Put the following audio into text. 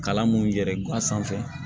Kalan mun yɛrɛ gan sanfɛ